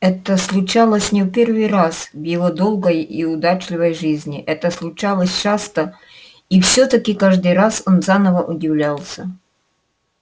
это случалось не в первый раз в его долгой и удачливой жизни это случалось часто и всё таки каждый раз он заново удивлялся